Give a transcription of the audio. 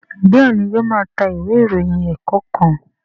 Béèni o má ta Ìwé ìròyìn ẹ̀ẹ̀kọ̀kan.